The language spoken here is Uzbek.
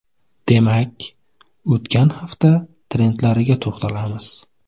Demak, o‘tgan hafta trendlariga to‘xtalamiz.